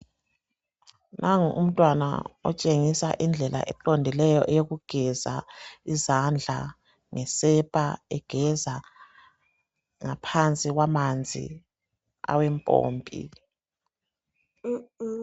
Nango umntwana otshengisa indlela eqondileyo eyokugeza izandla ngesepa egeza ngaphansi kwamanzi awempompi